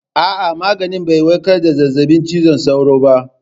A'a, maganin bai warkar da zazzabin cizon sauro ba.